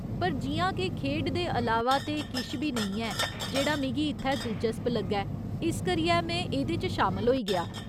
पर जि'यां के खेढ दे अलावा ते किश बी नेईं ऐ जेह्ड़ा मिगी इत्थै दिलचस्प लग्गै, इस करियै में एह्दे च शामल होई गेआ।